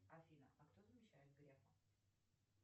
афина а кто замещает грефа